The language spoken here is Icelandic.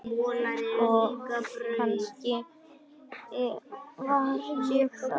Og kannski var ég það.